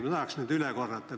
Ma tahaks need üle korrata.